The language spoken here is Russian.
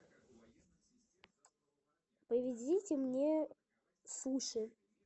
привезите мне суши